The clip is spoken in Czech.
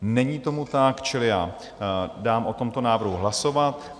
Není tomu tak, čili já dám o tomto návrhu hlasovat.